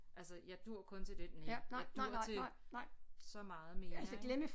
Altså jeg dur kun til det næ jeg dur til så meget mere ik